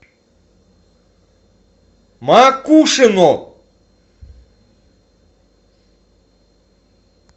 макушино